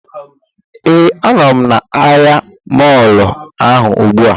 Ee, a nọ m na ahịa mọọlụ ahụ ugbu a